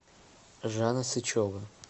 жанна сычева